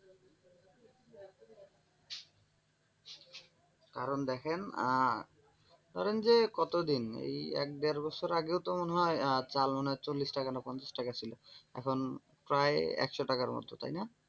কারণ দেখেন আহ ধরেন যে কতদিন এই এক দেড় বছর আগেও তো মনে হয় চাল মনে হয় চল্লিশ টাকা না পঞ্চাশ টাকা ছিল এখন প্রায় একশো টাকার মতো তাই না?